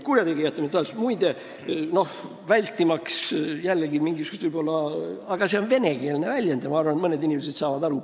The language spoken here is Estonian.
Selle võtab kokku üks venekeelne väljend – ma arvan, et mõned inimesed saavad aru.